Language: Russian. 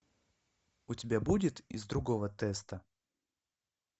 у тебя будет из другого теста